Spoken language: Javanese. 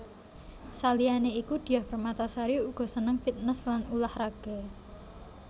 Saliyané iku Diah Permatasari uga seneng fitness lan ulah raga